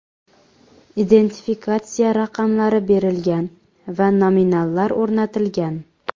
Identifikatsiya raqamlari berilgan va nominallar o‘rnatilgan.